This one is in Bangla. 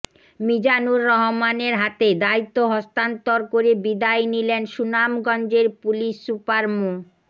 মিজানুর রহমানের হাতে দায়িত্ব হস্তান্তর করে বিদায় নিলেন সুনামগঞ্জের পুলিশ সুপার মো